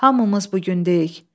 Hamımız bu gündəyik.